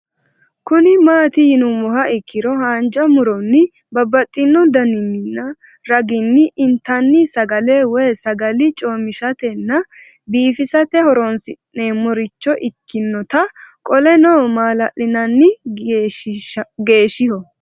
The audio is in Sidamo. Kuni mati yinumoha ikiro hanja muroni babaxino daninina ragini intani sagale woyi sagali comishatenna bifisate horonsine'morich ikinota qoleno malali'nani geshiho